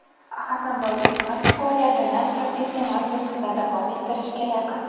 Hasanboy Do‘smatov faoliyatini professional boksda davom ettirishga yaqin.